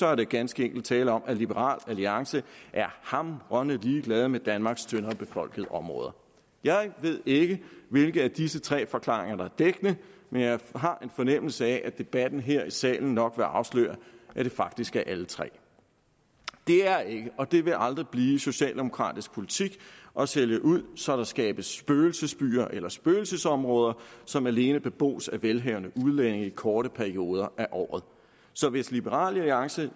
er der ganske enkelt tale om at liberal alliance er hamrende ligeglade med danmarks tyndere befolkede områder jeg ved ikke hvilke af disse tre forklaringer der er dækkende men jeg har en fornemmelse af at debatten her i salen nok vil afsløre at det faktisk er alle tre det er ikke og det vil aldrig blive socialdemokratisk politik at sælge ud så der skabes spøgelsesbyer ellers spøgelsesområder som alene bebos af velhavende udlændinge i korte perioder af året så hvis liberal alliance